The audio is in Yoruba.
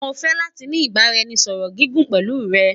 Mo fẹ lati ni ibaraẹnisọrọ gigun pẹlu rẹ